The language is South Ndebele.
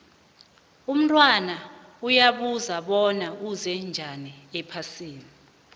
umntwana uyabuza bona uze njani ephasini